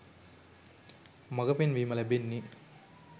මඟපෙන්වීම ලැබෙන්නේ.